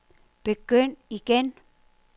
begynd igen